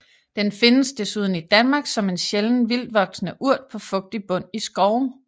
Den findes desuden i Danmark som en sjælden vildtvoksende urt på fugtig bund i skove